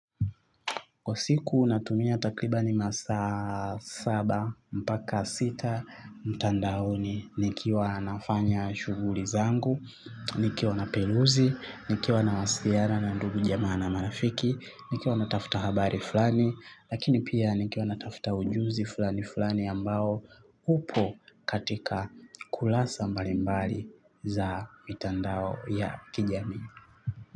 Kwa siku natumia takribani masaa saba mpaka sita mtandaoni nikiwa nafanya shughuli zangu, nikiwa naperuzi, nikiwa nawasiliana na ndugu jamaa na marafiki, nikiwa natafta habari fulani, lakini pia nikiwa natafta ujuzi fulani fulani ambao upo katika kurasa mbalimbali za mitandao ya kijamii.